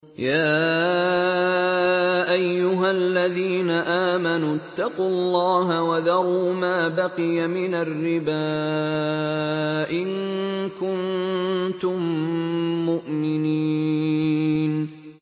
يَا أَيُّهَا الَّذِينَ آمَنُوا اتَّقُوا اللَّهَ وَذَرُوا مَا بَقِيَ مِنَ الرِّبَا إِن كُنتُم مُّؤْمِنِينَ